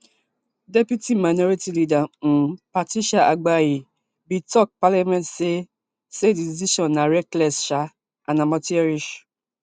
deputy minority leader um patricia apiagyei bin tok parliament say say di decision na reckless um and amateurish